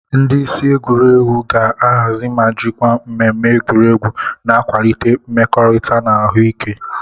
Ndị isi egwuregwu ga-ahazi ma jikwaa mmemme egwuregwu na-akwalite mmekorita na ahụ ike.